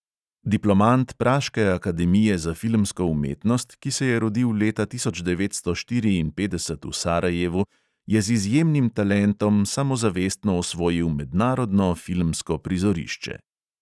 Diplomant praške akademije za filmsko umetnost, ki se je rodil leta tisoč devetsto štiriinpetdeset v sarajevu, je z izjemnim talentom samozavestno osvojil mednarodno filmsko prizorišče.